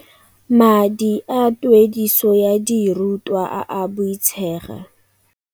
"Madi a tuediso ya diru twa a a boitshega."